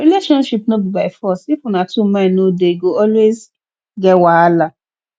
relationship no be by force if una two mind no dey e go always get wahala